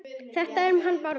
Þetta um hann Bárð?